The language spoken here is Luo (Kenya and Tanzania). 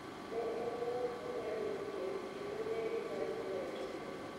Ne en ng'at maber gadier, kendo ne inyalo here.